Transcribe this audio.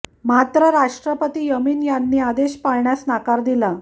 मात्र राष्ट्रपती यमीन यांनी हे आदेश पाळण्यास नकार दिला